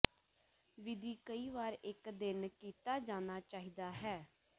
ਵਿਧੀ ਕਈ ਵਾਰ ਇੱਕ ਦਿਨ ਕੀਤਾ ਜਾਣਾ ਚਾਹੀਦਾ ਹੈ